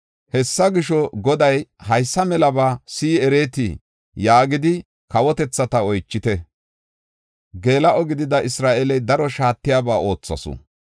Hessa gisho, “Goday, ‘Haysa melaba si7i ereetii?’ yaagidi kawotethata oychite. Geela7o gidida Isra7eeley daro shaatiyaba oothasu.